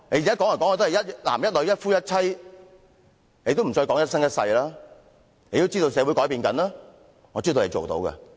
現在說"一男一女、一夫一妻"，已經不再說"一生一世"，就是因為知道社會正在改變，我知道他們做得到的。